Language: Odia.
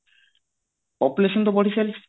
population ତା ବଢି ଚାଳିଚି